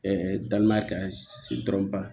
dalima kan sigi dɔrɔn